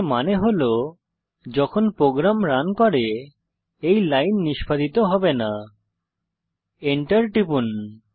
এর মানে হল যখন প্রোগ্রাম রান করে এই লাইন নিষ্পাদিত হবে না Enter টিপুন